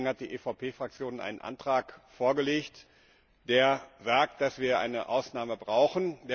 Deswegen hat die EVP Fraktion einen Antrag vorgelegt, der sagt, dass wir eine Ausnahme brauchen.